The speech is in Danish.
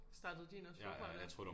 Startede din også forfra med